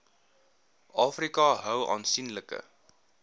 afrika hou aansienlike